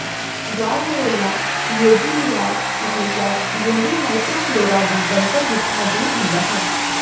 Gardnerella ਯੋਜੀਲੀਆਸ ਹਮੇਸ਼ਾ ਯੋਨੀ ਮਾਈਕਰੋਫਲੋਰਾ ਦੀ ਬਣਤਰ ਵਿੱਚ ਮੌਜੂਦ ਹੁੰਦਾ ਹੈ